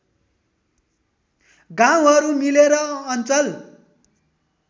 गाउँहरू मिलेर अञ्चल